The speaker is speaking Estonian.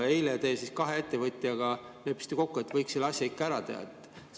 Eile te kahe ettevõtjaga leppisite kokku, et võiks selle asja ikka ära teha.